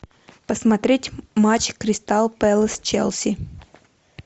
посмотреть матч кристал пэлас челси